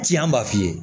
Ci an b'a f'i ye